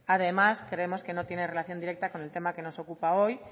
además creemos que no tiene relación directa con el tema que nos ocupa hoy